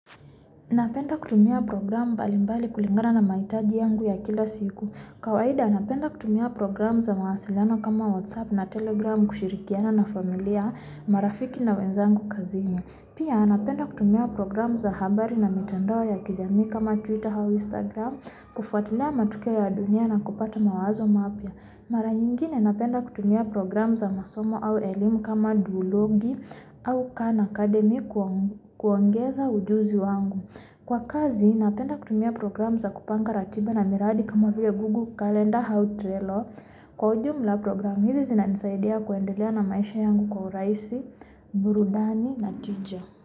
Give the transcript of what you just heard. Na penda kutumia program mbalimbali kulingana na maitaji yangu ya kila siku, kawaida napenda kutumia program za mawasilano kama WhatsApp na Telegram kushirikiana na familia, marafiki na wenzangu kazini Pia napenda kutumia program za habari na mitandawao ya kijami kama Twitter hau Instagram, kufatilia matukio ya dunia na kupata mawazo mapia Mara nyingine napenda kutumia program za masomo au elimu kama duologi au Khan Academy kuongeza wujuzi wangu Kwa kazi napenda kutumia program za kupanga ratiba na miradi kama vile gugu kalenda hau trailer Kwa ujumula program hizi zinanisaidia kuendelea na maisha yangu kwa uhuraisi, burudani na tija.